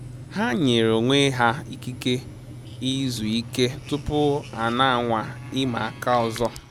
Ha nyere onwe ha ikike izu ike tupu a na anwa ịma aka ọzọ